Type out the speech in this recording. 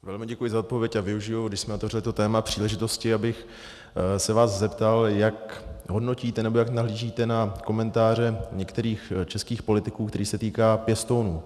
Velmi děkuji za odpověď a využiji, když jsme otevřeli to téma, příležitosti, abych se vás zeptal, jak hodnotíte nebo jak nahlížíte na komentáře některých českých politiků, které se týkají pěstounů.